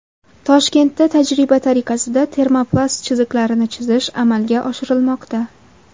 Toshkentda tajriba tariqasida termoplast chiziqlarini chizish amalga oshirilmoqda.